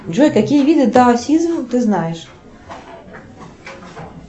джой какие виды даосизма ты знаешь